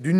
D’